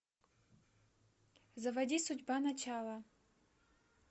заводи судьба начало